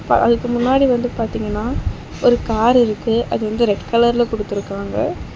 அதுக்கு முன்னாடி வந்து பாத்தீங்கன்னா ஒரு கார் இருக்கு. அது வந்து ரெட் கலர்ல குடுத்துருக்காங்க.